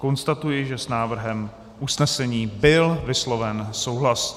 Konstatuji, že s návrhem usnesení byl vysloven souhlas.